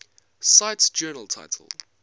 cite journal title